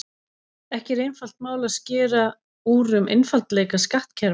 Ekki er einfalt mál að skera úr um einfaldleika skattkerfa.